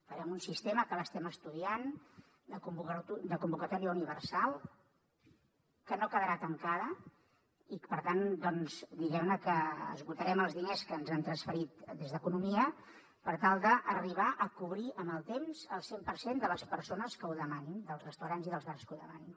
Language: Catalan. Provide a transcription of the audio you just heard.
farem un sistema que l’estem estudiant de convocatòria universal que no quedarà tancada i per tant doncs diguem ne que esgotarem els diners que ens han transferit des d’economia per tal d’arribar a cobrir amb el temps el cent per cent de les persones que ho demanin dels restaurants i dels bars que ho demanin